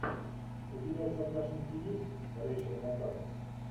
у тебя в загашнике есть рейчел макадамс